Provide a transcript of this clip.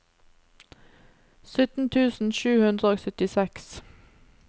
sytten tusen sju hundre og syttiseks